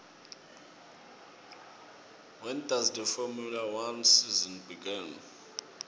when does the formula one season begin